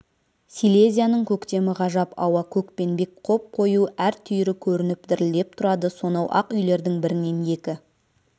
силезияның көктемі ғажап ауа көкпенбек қоп-қою әр түйірі көрініп дірілдеп тұрады сонау ақ үйлердің бірінен екі